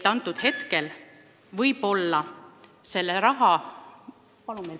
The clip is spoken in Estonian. Palun paar minutit juurde!